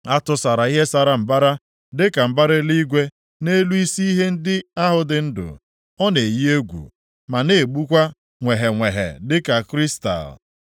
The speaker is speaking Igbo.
A tụsara ihe sara mbara dịka mbara eluigwe nʼelu isi ihe ndị ahụ dị ndụ. Ọ na-eyi egwu, ma na-egbukwa nweghenweghe dịka kristal.